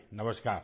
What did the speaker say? نمسکار